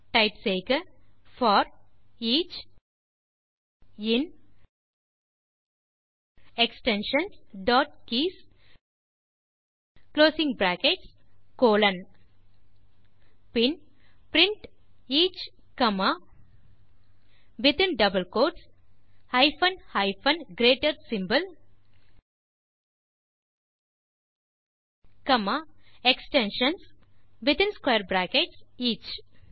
type செய்கfor each in extensions dot keys closing brackets colon then print each comma within double quotes hyphen hyphen greater symbol extensions மற்றும் within closing brackets each